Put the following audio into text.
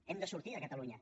hem de sortir de catalunya